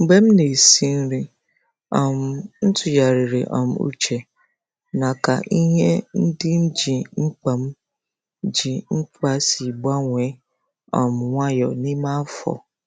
Mgbe m na-esi nri, um m tụgharịrị um uche na ka ihe ndị m ji mkpa m ji mkpa si gbanwee um nwayọọ n’ime afọ.